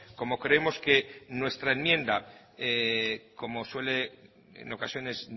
como creemos que nuestra enmienda como suele en ocasiones